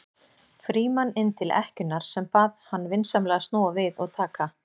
Frímann inn til ekkjunnar sem bað hann vinsamlega að snúa við og taka